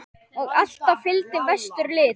Og alltaf fylgdi vestur lit.